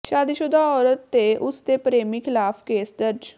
ਸ਼ਾਦੀਸ਼ੁਦਾ ਔਰਤ ਤੇ ਉਸ ਦੇ ਪ੍ਰੇਮੀ ਖ਼ਿਲਾਫ਼ ਕੇਸ ਦਰਜ